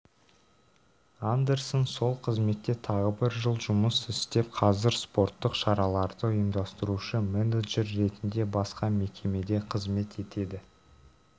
андерсон сол қызметте тағы бір жыл жұмыс істеп қазір спорттық шараларды ұйымдастырушы менеджер ретінде басқа мекемеде қызмет етеді